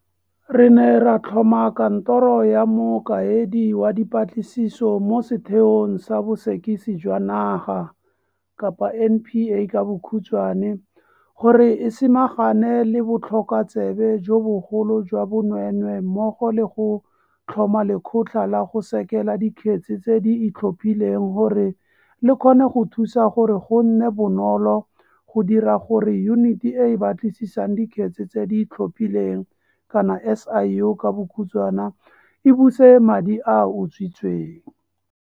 Re ne ra tlhoma Kantoro ya Mokaedi wa Dipatlisiso mo Sethe ong sa Bosekisi jwa Naga, NPA, gore e samagane le botlhokotsebe jo bogolo jwa bonweenwee mmogo le go tlhoma Lekgotla la go Sekela Dikgetse tse di Itlhophileng gore le kgone go thusa gore go nne bonolo go dira gore Yuniti e e Batlisisang Dikgetse tse di Itlhophileng, SIU, e buse madi a a utswitsweng.